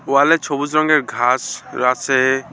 ওয়ালে ছবুজ রঙের ঘাস রাছে ।